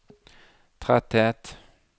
tretthet